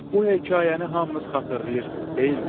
Bu hekayəni hamınız xatırlayırsız, deyilmi?